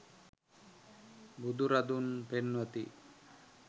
බුදුරදුන් පෙන්වති.